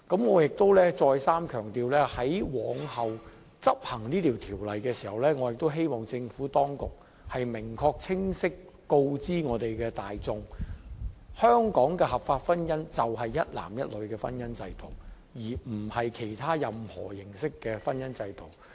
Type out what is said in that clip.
我亦想再三強調，在往後執行這項《條例草案》時，我希望政府當局能明確清晰告知市民大眾，香港的合法婚姻就是指一男一女的婚姻制度，而不是其他任何形式的婚姻制度。